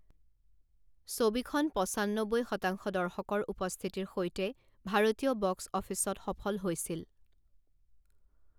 ছবিখন পঁচান্নবৈ শতাংশ দৰ্শকৰ উপস্থিতিৰ সৈতে ভাৰতীয় বক্স অফিচত সফল হৈছিল।